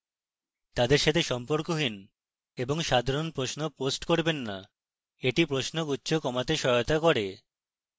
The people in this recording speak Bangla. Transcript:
তাদের সাথে সম্পর্কহীন এবং সাধারণ প্রশ্ন post করবেন না এটি প্রশ্নগুচ্ছ কমাতে সাহায্য করবে